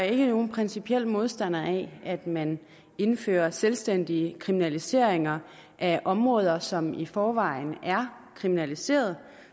ikke er nogen principiel modstander af at man indfører selvstændige kriminaliseringer af områder som i forvejen er kriminaliseret